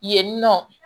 Yen nɔ